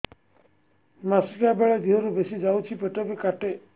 ମାସିକା ବେଳେ ଦିହରୁ ବେଶି ଯାଉଛି ପେଟ ବି କାଟେ